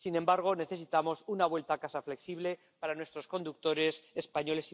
Sin embargo, necesitamos una vuelta a casa flexible para nuestros conductores españoles y portugueses.